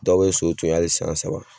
Dɔw be so to yen ali san saba